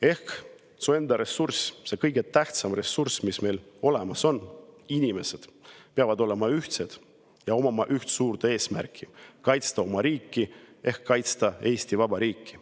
Ehk su enda kõige tähtsam ressurss, mis olemas on, inimesed, peavad olema ühtsed ja omama üht suurt eesmärki: kaitsta oma riiki ehk kaitsta Eesti vaba riiki.